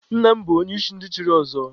Nna m bụ onye isi ndị chiri ọzọ.